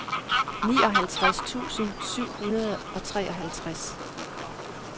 nioghalvtreds tusind syv hundrede og treoghalvtreds